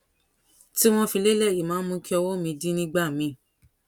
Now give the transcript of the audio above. tí wón fi lélè yìí máa ń mú kí ọwó mi dí nígbà míì